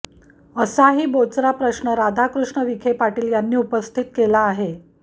असाही बोचरा प्रश्न राधाकृष्ण विखे पाटील यांनी उपस्थित केला आहे